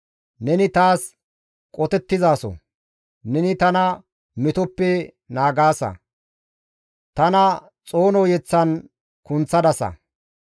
Neni taas qotettizaso; neni tana metoppe naagaasa; tana xoono yeththan kunththadasa.